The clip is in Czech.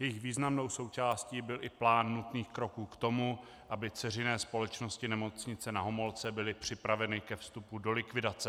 Jejich významnou součástí byl i plán nutných kroků k tomu, aby dceřiné společnosti Nemocnice Na Homolce byly připraveny ke vstupu do likvidace.